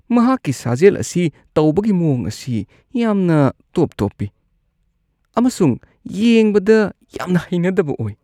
ꯃꯍꯥꯛꯀꯤ ꯁꯥꯖꯦꯜ ꯑꯁꯤ ꯇꯧꯕꯒꯤ ꯃꯑꯣꯡ ꯑꯁꯤ ꯌꯥꯝꯅ ꯇꯣꯞ-ꯇꯣꯞꯄꯤ ꯑꯃꯁꯨꯡ ꯌꯦꯡꯕꯗ ꯌꯥꯝꯅ ꯍꯩꯅꯗꯕ ꯑꯣꯏ꯫